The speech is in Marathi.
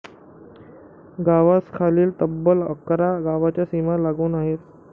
गावास खालील तब्बल अकरा गावाच्या सीमा लागून आहेत